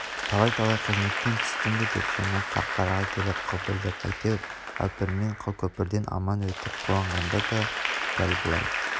талай-талай қызметтен түстім бе деп жаны қарқараға келіп қылпылдап әйтеуір әупірммен қылкөпірден аман өтіп қуанғанда да дәл бұлай